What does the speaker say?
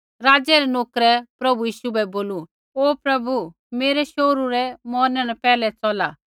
राज़ा रै नोकरै प्रभु यीशु बै बोलू ओ प्रभु मेरै शोहरू रै मौरने न पैहलै चौला